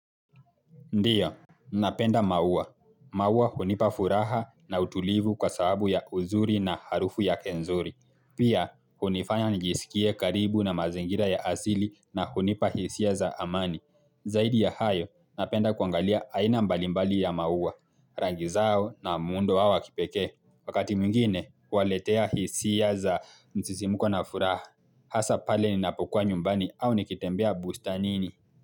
Ndio, napenda maua. Maua hunipa furaha na utulivu kwa sababu ya uzuri na harufu yake nzuri. Pia, hunifanya nijisikie karibu na mazingira ya asili na hunipa hisia za amani. Zaidi ya hayo, napenda kuangalia aina mbalimbali ya maua, rangi zao na muundo wao wa kipekee. Wakati mwingine, huwaletea hisia za msisimuko na furaha. Hasa pale ninapokuwa nyumbani au nikitembea bustanini.